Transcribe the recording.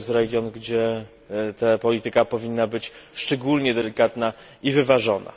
Jest to region, gdzie polityka powinna być szczególnie delikatna i wyważona.